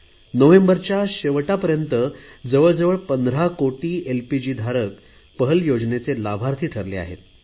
नोव्हेंबरच्या शेवटापर्यंत जवळ जवळ पंधरा कोटी एलपीजीधारक पहल योजनेचे लाभार्थी ठरले आहेत